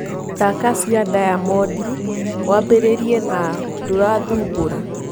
Thaka cĩa diamond wambiriirie na ndurathumbora